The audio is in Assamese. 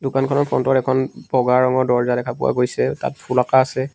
দোকানখনৰ ফ্ৰন্টত এখন বগা ৰঙৰ দৰ্জা দেখা পোৱা গৈছে তাত ফুল অকাঁ আছে।